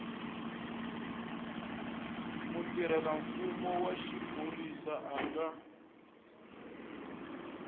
mutirhelamfumo wa xiphorisa a nga